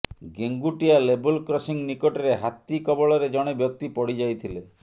ଗେଙ୍ଗୁଟିଆ ଲେବଲ୍ କ୍ରସିଂ ନିକଟରେ ହାତୀ କବଳରେ ଜଣେ ବ୍ୟକ୍ତି ପଡିଯାଇଥିଲେ